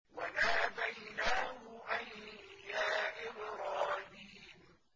وَنَادَيْنَاهُ أَن يَا إِبْرَاهِيمُ